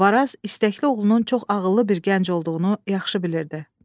Varaz istəkli oğlunun çox ağıllı bir gənc olduğunu yaxşı bilirdi.